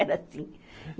Era assim.